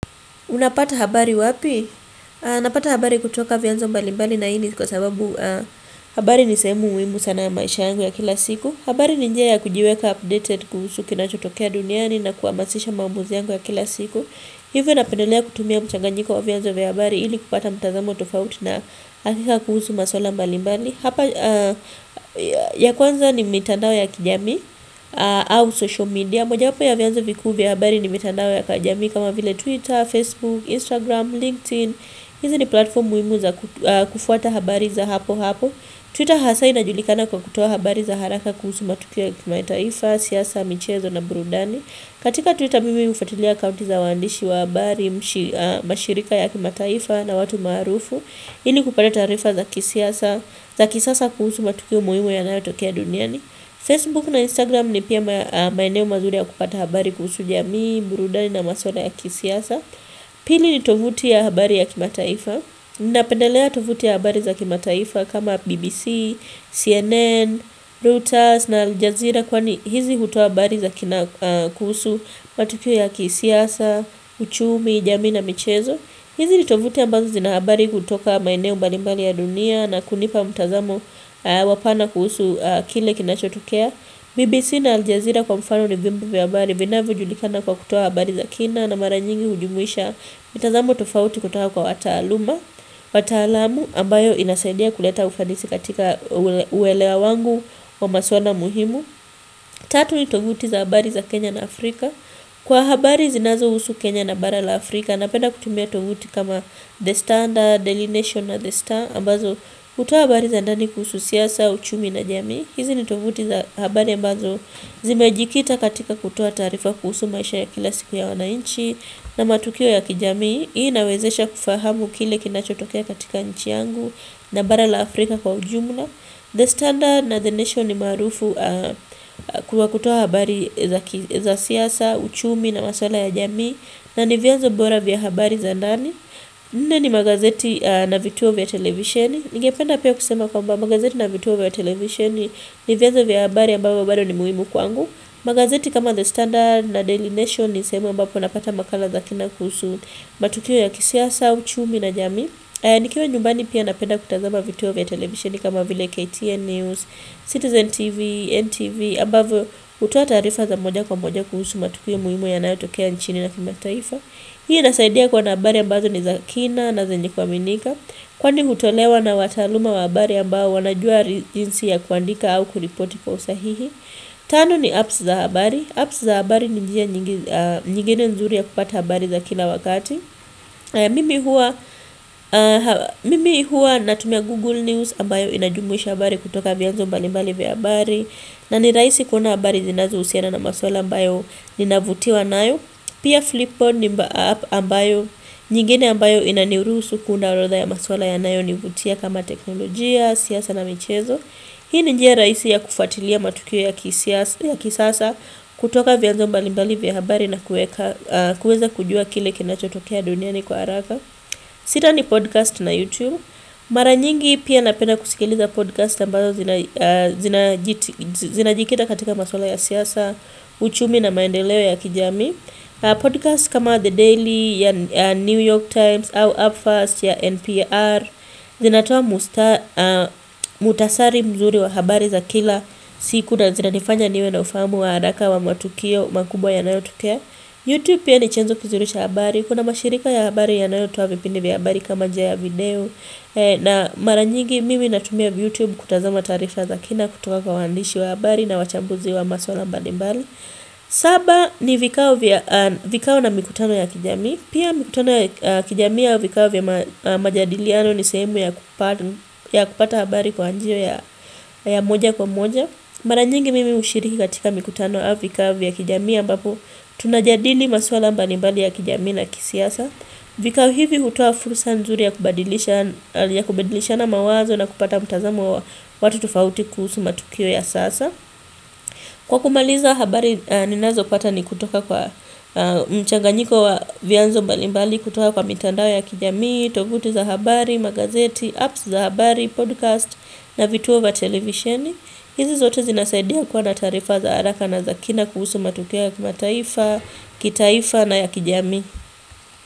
Unapata habari wapi? Napata habari kutoka vyanzo mbalimbali na hiini kwa sababu habari nisehemu muhimu sana ya maisha yangu ya kila siku. Habari ninjia ya kujiweka updated kuhusu kinachotokea duniani na kuhamasisha maamuzi yangu ya kila siku. Hivyo napendelea kutumia mchanganyiko wa vyanzo vya habari. Ili kupata mtazamo tofauti na hakika kuhusu maswala mbalimbali. Hapa ya kwanza ni mitandao ya kijamii au social media. Na moja wapo ya vyanzo vikuuvya habari ni mitandao ya kijamii kama vile Twitter, Facebook, Instagram, LinkedIn. Hizi ni platform muhimu za kufuata habari za hapo hapo. Twitter hasa ina julikana kwa kutoa habari za haraka kuhusu matukio yakimataifa, siasa, michezo na burundani. Katika Twitter mimi hufuatilia akaunti za waandishi wa habari, mashirika ya kimataifa na watu maarufu. Ili kupata taarifa za kisasa kuhusu matukio muhimu ya nayo tokea duniani. Facebook na Instagram ni pia maeneo mazuri ya kupata habari kuhusu jamii, burudani na maswala ya kisiasa Pili ni tovuti ya habari ya kimataifa Napendelea tovuti ya habari za kimataifa kama BBC, CNN, Reuters na Aljazira Kwani hizi hutoa habari za kuhusu matukio ya kisiasa, uchumi, jamii na michezo hizi ni tovuti ambazo zinahabari kutoka maeneo mbalimbali ya dunia na kunipa mtazamo wapana kuhusu kile kinachotokea. BBC na Aljazira kwa mfano ni vyombo vya habari vina vyojulikana kwa kutoa habari za kina na mara nyingi hujumuisha mitazamo tofauti kutoka kwa wata aluma, wata alamu ambayo inasadia kuleta ufanisi katika uelewa wangu wa maswala muhimu. Tatu ni tovuti za habari za Kenya na Afrika Kwa habari zinazo husu Kenya na barala Afrika Napenda kutumia tovuti kama The Standard, Daily Nation na The Star ambazo hutoa habari za ndani kuhusu siasa, uchumi na jamii hizi ni tovuti za habari ambazo zimejikita katika kutoa taarifa kuhusu maisha ya kila siku ya wanainchi na matukio ya kijamii Hii inawezesha kufahamu kile kinacho tokea katika nchi yangu na barala Afrika kwa ujumla The Standard na The Nation ni maarufu kwa kutoa habari za siasa, uchumi na maswala ya jamii na nivyanzo bora vya habari za ndani Nne ni magazeti na vituo vya televisheni Ninge penda pia kusema kwa mba magazeti na vituo vya televisheni Nivyanzo vya habari ambavyo bado ni muhimu kwangu magazeti kama The Standard na Daily Nation ni sehemu ambapo napata makala za kina kuhusu matukio ya kisiasa, uchumi na jamii Nikiwa nyumbani pia napenda kutazama vituo vya televisioni kama vile KTN News, Citizen TV, NTV ambavyo hutoa taarifa za moja kwa moja kuhusu matukio muhimu yanayotokea nchini na kima taifa Hii inasaidia kuwa nahabari ambazo ni zakina na zenye kua minika Kwani hutolewa na wataaluma wa habari ambao wanajua jinsi ya kuandika au kuripoti kwa usahihi Tano ni apps za habari Apps za habari ni njia nyingine nzuri ya kupata habari za kila wakati Mimi hua natumia Google News ambayo inajumwisha habari kutoka vyanzo mbalimbali vya habari na ni rahisi kuona habari zinazo husiana na maswala ambayo ninavutiwa nayo Pia Flipboard ni app ambayo nyingine ambayo inaniruhusu kuundaorodha ya maswala ya nayo nivutia kama teknolojia, siasa na michezo Hii ni njia rahisi ya kufuatilia matukio ya kisasa, kutoka vya nzo mbali mbali vya habari na kuweka, kuweza kujua kile kina chotokea duniani kwa haraka. Sita ni podcast na YouTube. Mara nyingi pia napenda kusikiliza podcast ambazo zinajikita katika maswala ya siasa, uchumi na maendeleo ya kijamii. Podcast kama The Daily ya New York Times au Upfast ya NPR zinatoa mkhutasari mzuri wa habari za kila siku na zinanifanya niwe na ufahamu wa haraka wa matukio makubwa ya nayotokea Youtube piani chanzo kizuricha habari Kuna mashirika ya habari ya nayotoa vipindi vya habari kama njiaya video na maranyigi mimi natumia YouTube kutazama taarifa za kina kutoka kwa waandishi wa habari na wachambuzi wa maswalambali mbali Saba ni vikao na mikutano ya kijamii Pia mikutano ya kijamii au vikao vya majadiliano ni sehemu ya kupata habari kwa njia ya moja kwa moja Maranyingi mimi hushiriki katika mikutano au vikao vya kijamii ambapo Tunajadili maswalambalimbali ya kijamii naya kisiasa vikao hivi hutoa fursa nzuri ya kubadilisha na mawazo na kupata mtazamo wa watu tofauti kuhusu matukio ya sasa Kwa kumaliza habari ninazo pata ni kutoka kwa mchanganyiko wa vyanzo mbalimbali kutoka kwa mitandao ya kijami, tovuti za habari, magazeti, apps za habari, podcast na vituovya televisheni. Hizi zote zinasaidia kuwa na taarifa za haraka na zakina kuhusu matukioya kimataifa, kitaifa na ya kijamii.